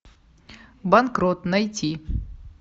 банкрот найти